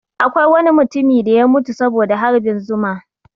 Akwai wani mutumi da ya mutu saboda harbin zuma